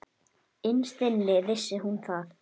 Innst inni vissi hún það.